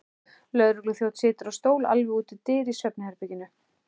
Lögregluþjónn situr á stól alveg úti við dyr í svefnherberginu.